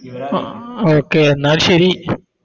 Okay എന്നാൽ ശരി